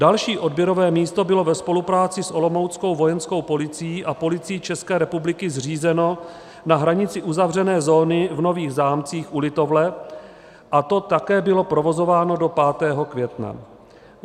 Další odběrové místo bylo ve spolupráci s olomouckou Vojenskou policií a Policií České republiky zřízeno na hranici uzavřené zóny v Nových Zámcích u Litovle a to také bylo provozováno do 5. května.